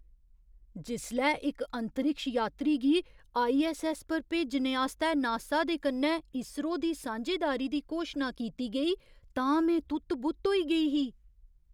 जिसलै इक अंतरिक्ष यात्री गी आईऐस्सऐस्स पर भेजने आस्तै नासा दे कन्नै ईसरो दी सांझेदारी दी घोशना कीती गेई तां में तुत्त बुत्त होई गेई ही!